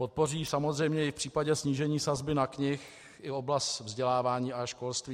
Podpoří samozřejmě i v případě snížení sazby na knihy i oblast vzdělávání a školství.